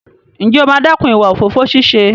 Ǹjẹ́ o máa dẹ́kun ìwà òfófó ṣíṣe?